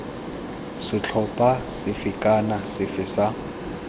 setlhopha sefe kana sefe sa